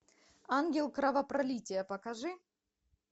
ангел кровопролития покажи